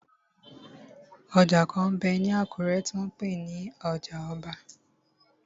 Ọjà kan m bẹ ní Àkúrẹ́ tí wọ́n n pè ní ọjà ọba.